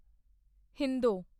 ਹਿੰਦੋਂ